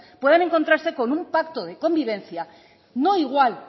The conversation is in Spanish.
puedan encontrarse con un pacto de convivencia no igual